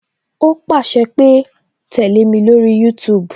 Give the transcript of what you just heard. O pàṣẹ pé "tẹle mi lórí YouTube